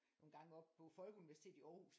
Nogle gange oppe på Folkeuniversitetet i Aarhus